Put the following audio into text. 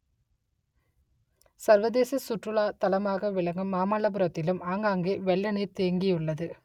சர்வதேச சுற்றுலா தலமாக ‌விள‌க்கு‌ம் மாமல்லபுர‌த்‌தி‌லு‌ம் ஆ‌ங்கா‌ங்கே வெ‌ள்ள ‌நீ‌ர் தே‌ங்‌கியு‌ள்ளது